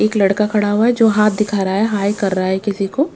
एक लड़का खड़ा हुआ है जो हाथ दिखा रहा है हाय कर रहा है किसी को।